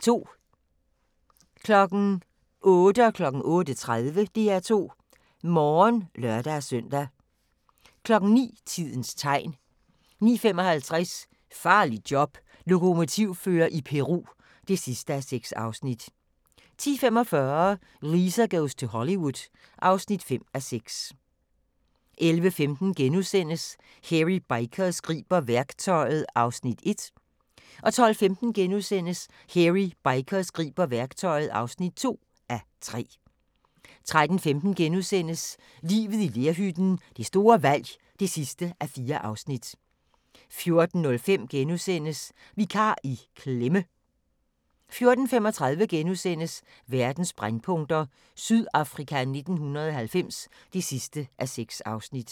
08:00: DR2 Morgen (lør-søn) 08:30: DR2 Morgen (lør-søn) 09:00: Tidens tegn 09:55: Farligt job - Lokomotivfører i Peru (6:6) 10:45: Lisa goes to Hollywood (5:6) 11:15: Hairy Bikers griber værktøjet (1:3)* 12:15: Hairy Bikers griber værktøjet (2:3)* 13:15: Livet i lerhytten – det store valg (4:4)* 14:05: Vikar i klemme! * 14:35: Verdens brændpunkter: Sydafrika 1990 (6:6)*